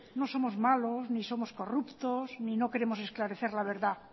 no somos malos ni somos corruptos ni no queremos esclarecer la verdad